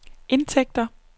indtægter